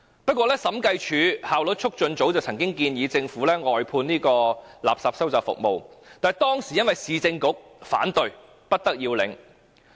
不過，審計署及效率促進組曾建議政府外判垃圾收集服務，但當時由於市政局反對而不得要領。